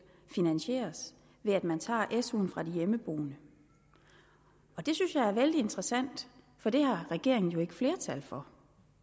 finansieres ved at man tager suen fra de hjemmeboende det synes jeg er vældig interessant for det har regeringen jo ikke flertal for